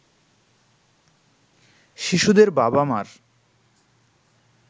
শিশুদের বাবা-মার